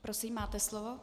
Prosím, máte slovo.